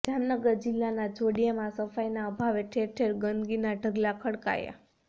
જામનગર જિલ્લાના જોડિયામાં સફાઇના અભાવે ઠેર ઠેર ગંદકીના ઢગલા ખડકાયા